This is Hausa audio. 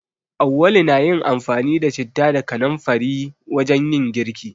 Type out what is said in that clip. Auwalu na yin amfani da citta da kanamfari wajen yin girki.